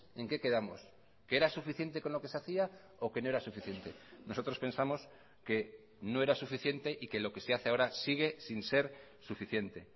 en qué quedamos que era suficiente con lo que se hacía o que no era suficiente nosotros pensamos que no era suficiente y que lo que se hace ahora sigue sin ser suficiente